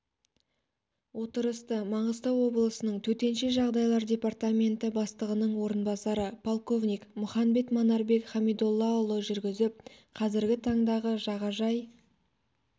отырысты маңғыстау облысының төтенше жағдайлар департаменті бастығының орынбасары полковник мұханбетов манарбек хамидоллаұлы жүргізіп қазіргі таңдағы жағажай